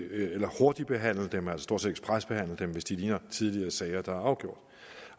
eller hurtigbehandle dem altså stort set ekspresbehandle dem hvis de ligner tidligere sager der er afgjort